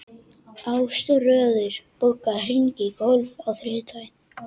Ásröður, bókaðu hring í golf á þriðjudaginn.